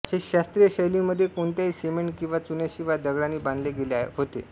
हे शास्त्रीय शैलीमध्ये कोणत्याही सिमेंट किंवा चुन्याशिवाय दगडांनी बांधले गेले होते